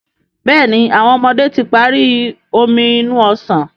Béèni àwọn ọmọdé tí parí Omi inú ọsàn.